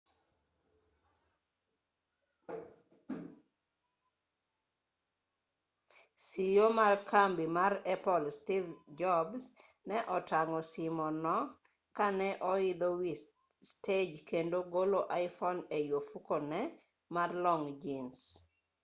ceo ma kambi mar apple steve jobs ne otang'o simo no ka ne oidho wi stej kendo golo iphone ei ofukune mar long' jins